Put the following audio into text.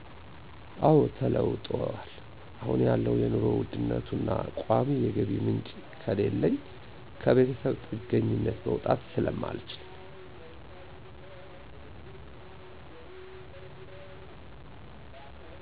አወ ተለውጠዋል። አሁን ያለው የኑሮ ውድነቱና ቋሚ የገቢ ምንጭ ከሌለኝ ከቤተሰብ ጥገኝነት መውጣት ስለማልችል።